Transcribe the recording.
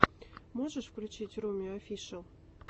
можешь включить руми офишэл